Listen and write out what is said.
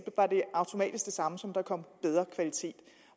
automatisk samme som at der kom bedre kvalitet